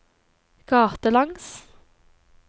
gatelangs